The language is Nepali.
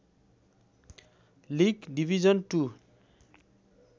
league division to